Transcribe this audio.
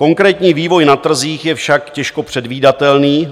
Konkrétní vývoj na trzích je však těžko předvídatelný.